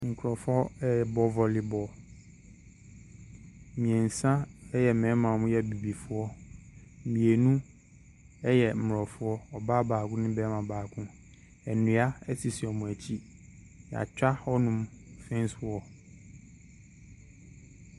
Nkurɔfoɔ rebɔ voley ball. Mmeɛnsa yɛ mmarima a wɔyɛ Abibifoɔ. Mmienu yɛ Mmorɔfo, ɔbaa baako ne barima baako. Nnua sisi wɔn akyi. Wɔatwa hɔnon fence wall.